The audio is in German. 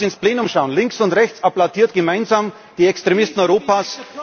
Ich brauche bloß ins Plenum zu schauen Links und rechts applaudieren gemeinsam die Extremisten Europas.